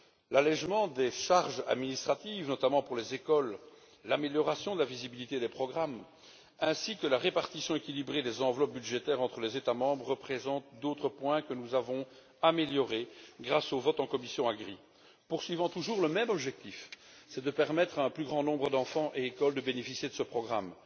L'allégement des charges administratives, notamment pour les écoles, l'amélioration de la visibilité des programmes, ainsi que la répartition équilibrée des enveloppes budgétaires entre les États membres sont autant d'autres points que nous avons améliorés grâce au vote en commission de l'agriculture et du développement rural. En poursuivant toujours le même objectif, nous permettons à un plus grand nombre d'enfants et d'écoles de bénéficier de ce programme.